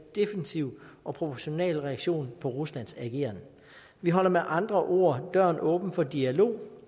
defensiv og proportional reaktion på ruslands ageren vi holder med andre ord døren åben for dialog